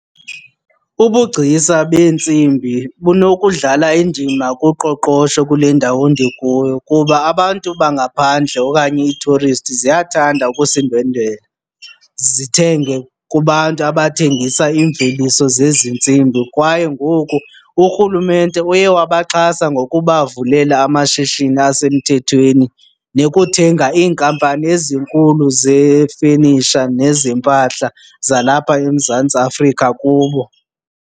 Ubugcisa beentsimbi bunokudlala indima kuqoqosho kule ndawo ndikuyo kuba abantu bangaphandle okanye ii-tourist ziyathanda ukusindwendwela zithenge kubantu abathengisa iimveliso zezi ntsimbi. Kwaye ngoku uRhulumente uye wabaxhasa ngokubavulela amashishini asemthethweni nokuthenga iinkampani ezinkulu zefenisha nezempahla zalapha eMzantsi Afrika kubo.